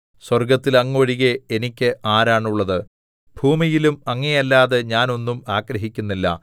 സ്വർഗ്ഗത്തിൽ അങ്ങ് ഒഴികെ എനിക്ക് ആരാണുള്ളത് ഭൂമിയിലും അങ്ങയെയല്ലാതെ ഞാൻ ഒന്നും ആഗ്രഹിക്കുന്നില്ല